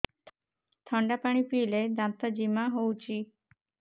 ଥଣ୍ଡା ପାଣି ପିଇଲେ ଦାନ୍ତ ଜିମା ହଉଚି